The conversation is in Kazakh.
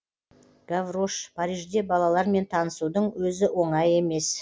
гаврош парижде балалармен танысудың өзі оңай емес